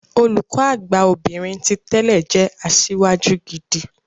Olùkọ Àgbà obìnrin ti tẹ́lẹ̀ jẹ́ asíwájú gidi.